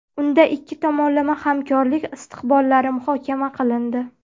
Unda ikki tomonlama hamkorlik istiqbollari muhokama qilindi.